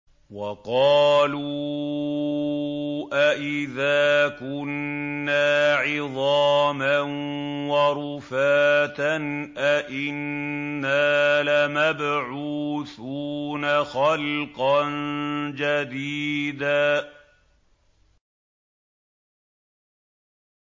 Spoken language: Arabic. وَقَالُوا أَإِذَا كُنَّا عِظَامًا وَرُفَاتًا أَإِنَّا لَمَبْعُوثُونَ خَلْقًا جَدِيدًا